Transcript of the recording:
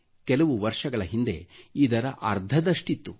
ಕೆಲವು ವರ್ಷಗಳ ಹಿಂದೆ ಇದರ ಅರ್ಧದಷ್ಟಿತ್ತು